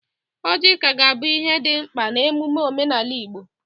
Ọjị ka ga-abụ ihe dị mkpa n'emume omenala Igbo.